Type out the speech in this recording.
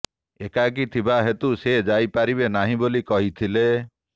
ଏକାକି ଥିବା ହେତୁ ସେ ଯାଇ ପାରିବେ ନାହିଁ ବୋଲି କହିଥିଲେ